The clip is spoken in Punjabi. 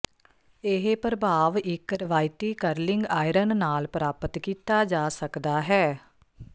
ਇਹ ਪ੍ਰਭਾਵ ਇੱਕ ਰਵਾਇਤੀ ਕਰਲਿੰਗ ਆਇਰਨ ਨਾਲ ਪ੍ਰਾਪਤ ਕੀਤਾ ਜਾ ਸਕਦਾ ਹੈ